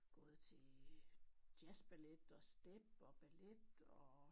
Gået til øh jazzballet og step og ballet og